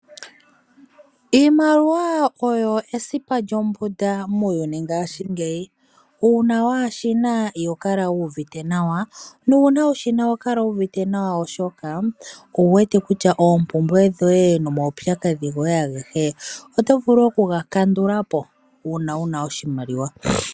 Iimaliwa oyo esipa lyombunda muuyuni ngashiingeyi, uuna waashina iho kala wu uvite nawa nuuna wushina oho kala wuuvite nawa oshoka owuwete kutya oompumbwe dhoye nomaupyakadhi goye ageshe oto vulu okuga kandula po uuna wuna oshimaliwa.